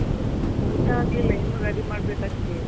ಊಟ ಆಗ್ಲಿಲ್ಲ. ಇನ್ನು ready ಮಾಡಬೇಕಷ್ಟೇ.